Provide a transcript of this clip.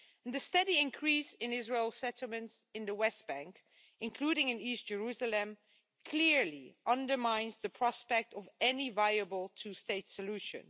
The steady increase in Israeli settlements in the West Bank, including in east Jerusalem, clearly undermines the prospect of any viable two state solution.